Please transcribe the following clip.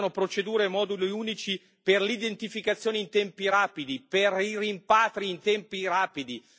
Si aspettano procedure e moduli unici per l'identificazione in tempi rapidi, per i rimpatri in tempi rapidi.